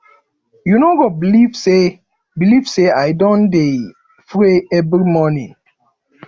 you no go believe say believe say i don dey pray every morning